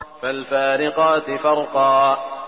فَالْفَارِقَاتِ فَرْقًا